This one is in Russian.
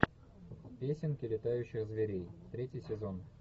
песенки летающих зверей третий сезон